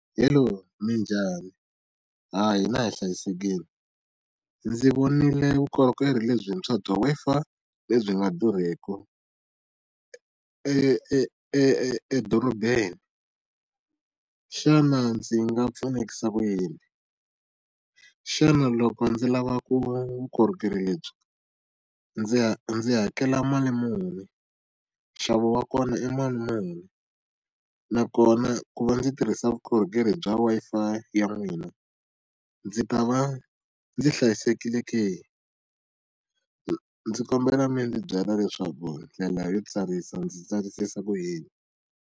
Hello, Minjhani? Ha hina hi hlayisekile. Ndzi vonile vukorhokeri lebyi bya bya Wi-Fi lebyi nga durheki e e edorobeni. Xana ndzi nga pfunekisa ku yini? Xana loko ndzi lava vukorhokeri lebyi ndzi ndzi hakela mali muni? Nxavo wa kona i mali muni? Nakona ku va ndzi tirhisa vukorhokeri bya Wi-Fi ya n'wina ndzi ta va ndzi hlayisekile ke? Ndzi kombela mi ndzi byela leswaku ndlela yo tsarisa ndzi tsarisisa ku yini.